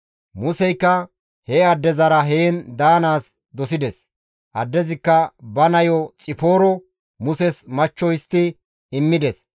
Museykka he addezara heen daanaas dosides; addezikka ba nayo Xipooro Muses machcho histti immides.